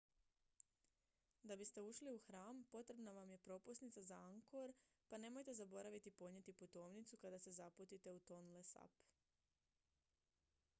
da biste ušli u hram potrebna vam je propusnica za angkor pa nemojte zaboraviti ponijeti putovnicu kada se zaputite u tonle sap